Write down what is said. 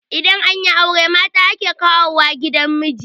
idan an yi aure mata ake kawo wa gidan miji